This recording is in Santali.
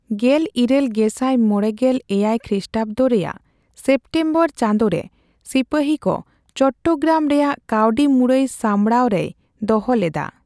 ᱜᱮᱞ ᱤᱨᱟᱹᱞ ᱜᱮᱥᱟᱭ ᱢᱚᱲᱮᱜᱮᱞ ᱮᱭᱟᱭ ᱠᱷᱤᱥᱴᱟᱵᱫᱚ ᱨᱮᱭᱟᱜ ᱥᱮᱯᱴᱮᱢᱵᱚᱨ ᱪᱟᱸᱫᱳ ᱨᱮ ᱥᱤᱯᱟᱹᱦᱤ ᱠᱚ ᱪᱚᱴᱭᱚᱜᱨᱟᱢ ᱨᱮᱭᱟᱜ ᱠᱟᱹᱣᱰᱤ ᱢᱩᱨᱟᱹᱭ ᱥᱟᱢᱲᱟᱣ ᱨᱮᱭ ᱫᱚᱦᱚ ᱞᱮᱫᱟ ᱾